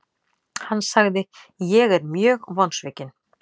Hann sagði:, Ég er mjög vonsvikinn.